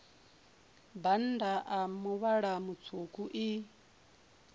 bannda a muvhala mutswuku i